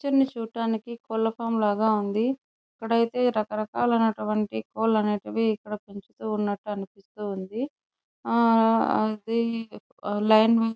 ఈ పిక్చర్ చూడటానికి కోడ్ల ఫోరమ్ లాగా ఉంది ఇక్కడైతే రకరకాల నటువంటి కోడ్లు అనేటివి ఇక్కడ పెంచుతూ ఉన్నటు అనిపిస్తుంది ఆ అది --